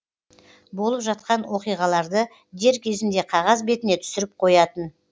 болып жатқан оқиғаларды дер кезінде қағаз бетіне түсіріп қоятын